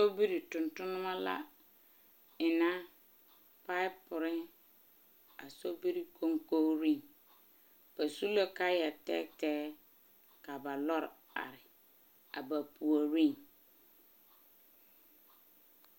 Sobiri tontonnema la enna paapore a sobiri koŋkogiriŋ. Ba su la kaayaa tɛɛtɛɛ, ka ba lɔre are a ba puori.